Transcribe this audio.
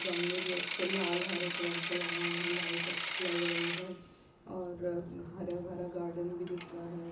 गमले भी अच्छे लाल हरे कलर के लगाए हैं लाइट अच्छी लग रही है और हरा-भरा गार्डन भी दिख रहा है।